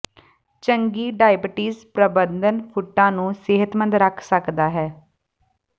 ਚੰਗੀ ਡਾਇਬੀਟੀਜ਼ ਪ੍ਰਬੰਧਨ ਫੁੱਟਾਂ ਨੂੰ ਸਿਹਤਮੰਦ ਰੱਖ ਸਕਦਾ ਹੈ